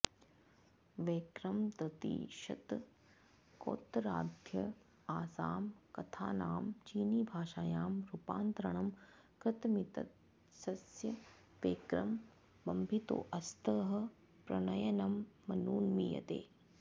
वैक्रमतृतीयशतकोत्तराद्ध आसां कथानां चीनीभाषायां रूपान्तरणं कृतमित्यस्य वैक्रम मंभितोऽस्थः प्रणयनमनुमीयते